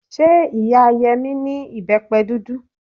Ṣé ìyá Yẹmí ní ìbẹ́pẹ dúdú?